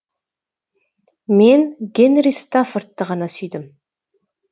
мен гэнри стаффордты ғана сүйдім